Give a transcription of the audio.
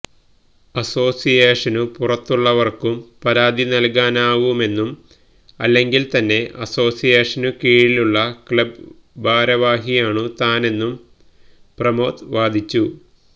അസോസിയേഷനു പുറത്തുള്ളവർക്കും പരാതി നൽകാനാവുമെന്നും അല്ലെങ്കിൽ തന്നെ അസോസിയേഷനു കീഴിലുള്ള ക്ലബ് ഭാരവാഹിയാണു താനെന്നും പ്രമോദ് വാദിച്ചു